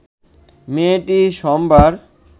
মেয়েটি সোমবার